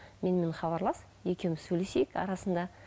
менімен хабарлас екеуміз сөйлесейік арасында